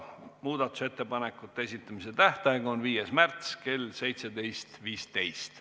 Muudatusettepanekute esitamise tähtaeg on 5. märts kell 17.15.